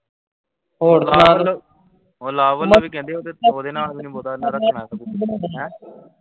ਹੋਰ ਸੁਣਾ ਤੂੰ, ਉਹ ਲਵ ਦਾ ਵੀ ਕਹਿੰਦੇ ਓਹਦੇ ਸਹੁਰੇ ਨਾਲ ਵੀ ਬਹੁਤਾ ਜਿਆਦਾ ਹੈਂ।